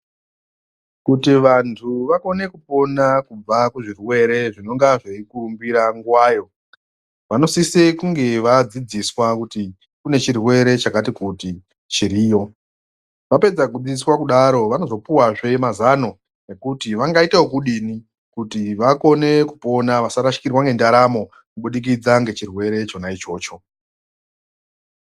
Kuti vantu vakone kupona kubva kuzvirwere zvinonga zveikurumbira nguwayo, vanosise kunge vadzidziswa kuti kune chirwere chakati kuti chiriyo. Vapedza kudzidziswa kudaro, vanozopuwazve mazano ekuti vangaita wokudini kuti vakone kupona, vasarashikirwa ngendaramo kuburikidza ngechirwere chona ichocho.